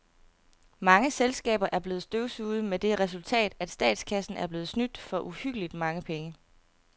Mange selskaber er blevet støvsuget med det resultat, at statskassen er blevet snydt for uhyggeligt mange penge.